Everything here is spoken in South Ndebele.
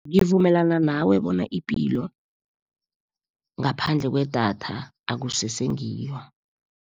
Ngivumelana nawe, bona ipilo ngaphandle kwedatha akusese ngiyo.